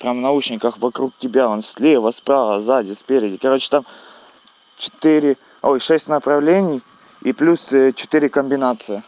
там в наушниках вокруг тебя он слева справа сзади спереди короче там четыре ой шесть направлений и плюс четыре комбинации